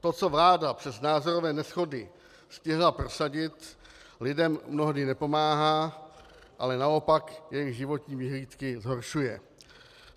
To, co vláda přes názorové neshody stihla prosadit, lidem mnohdy nepomáhá, ale naopak jejich životní vyhlídky zhoršuje.